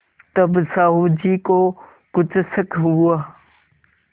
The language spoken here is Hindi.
तब साहु जी को कुछ शक हुआ